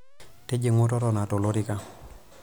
Tijing'u totona tolorika.